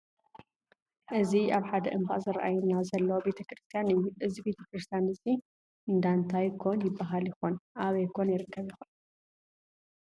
እዚ ኣብ ሓደ እምባ ዝረአየና ዘሎ ቤተክርስትያን እዩ። እዚ ቤተክርስትያን እዚ እንዳታይ ኮን ይባሃል ይኮን ? ኣበይ ኮን ይርከብ ይኮን?